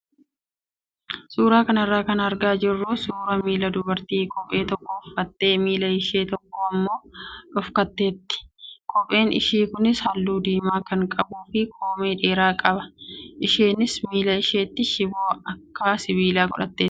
Suuraa kanarraa kan argaa jirru suuraa miila dubartii kophee tokko uffattee miila ishee tokko immoo dhokfatteeti. Kopheen ishee kunis halluu diimaa kan qabuu fi koomee dheeraa qaba. Isheenis miila isheetti shiboo akka sibiilaa godhatteetti.